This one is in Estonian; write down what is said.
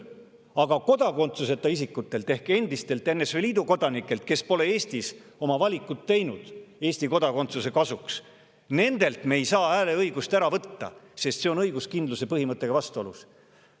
Aga kodakondsuseta isikutelt ehk endistelt NSV Liidu kodanikelt, kes pole Eestis teinud valikut Eesti kodakondsuse kasuks, me ei saa hääleõigust ära võtta, sest see on õiguskindluse põhimõttega vastuolus.